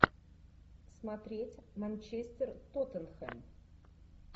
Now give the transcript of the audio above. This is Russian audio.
смотреть манчестер тоттенхэм